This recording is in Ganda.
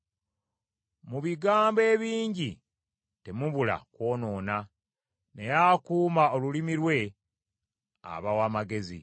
Mu bigambo ebingi temubula kwonoona, naye akuuma olulimi lwe aba wa magezi.